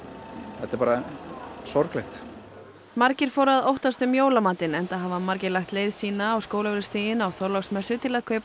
þetta er sorglegt margir fóru að óttast um jólamatinn enda hafa margir lagt leið sína á Skólavörðustíginn á Þorláksmessu til að kaupa